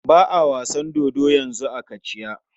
Ba a wasan dodo yanzu a Kachiya.